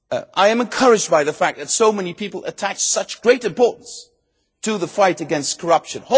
public. I am encouraged by the fact that so many people attach such great importance to the fight against corruption.